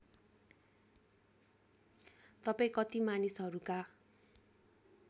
तपाईँ कति मानिसहरूका